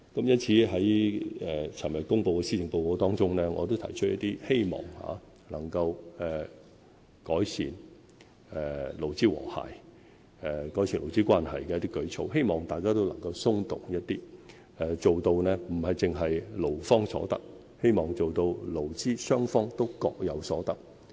因此，在昨天公布的施政報告中，我提出一些希望能夠改善勞資和諧、改善勞資關係的舉措，希望大家都能夠稍作讓步，不單做到勞方有所得，而是勞資雙方都各有所得。